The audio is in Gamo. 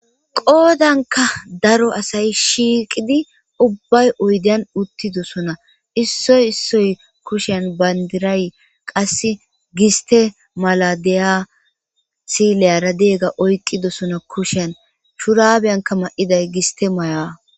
qoodanka daro asay shiiqidi ubbay oydan uttidosona issoy issoy kushen bayndiray qasse giste maladiya sileyaradeegga oykqidosona kushen schuraabiyanka ma7iday giste mayaa